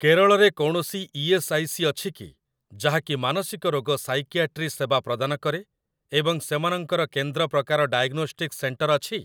କେରଳ ରେ କୌଣସି E S. I. C. ଅଛି କି ଯାହାକି ମାନସିକ ରୋଗ ସାଇକିଆଟ୍ରି ସେବା ପ୍ରଦାନ କରେ ଏବଂ ସେମାନଙ୍କର କେନ୍ଦ୍ର ପ୍ରକାର ଡାଏଗ୍ନୋଷ୍ଟିକ୍ସ ସେଣ୍ଟର ଅଛି?